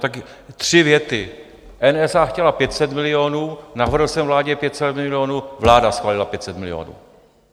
Tak tři věty: NSA chtěla 500 milionů, navrhl jsem vládě 500 milionů, vláda schválila 500 milionů.